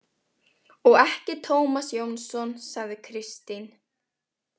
Og ekki Tómas Jónsson, sagði Kristín.